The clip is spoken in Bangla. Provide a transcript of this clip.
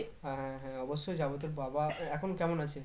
হ্যাঁ হ্যাঁ অব্যশই যাবো তোর বাবা এ এখন কেমন আছে?